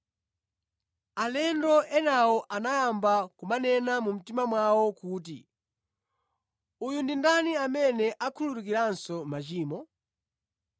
Alendo enawo anayamba kumanena mʼmitima mwawo kuti, “Uyu ndi ndani amene akhululukiranso machimo?”